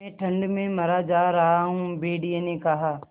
मैं ठंड में मरा जा रहा हूँ भेड़िये ने कहा